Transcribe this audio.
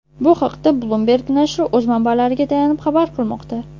Bu haqda Bloomberg nashri o‘z manbalariga tayanib xabar qilmoqda .